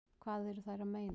Hvað eru þær að meina?